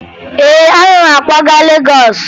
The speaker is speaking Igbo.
Ee, ana m akwaga Legọọsụ